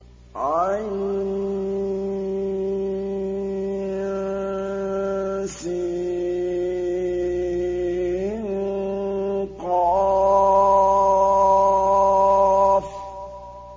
عسق